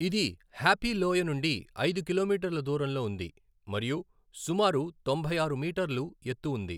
ఇది హ్యాపీ లోయ నుండి ఐదు కిలోమీటర్ల దూరంలో ఉంది మరియు సుమారు తొంభై ఆరు మీటర్లు ఎత్తు ఉంది.